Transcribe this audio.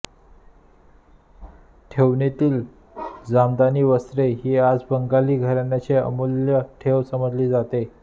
ठेवणीतील जामदानी वस्त्रे ही आज बंगाली घराण्यांची अमूल्य ठेव समजली जाते